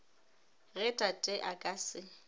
ge tate a ka se